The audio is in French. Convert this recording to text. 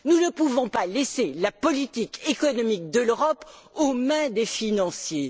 Nous ne pouvons pas laisser la politique économique de l'Europe aux mains des financiers.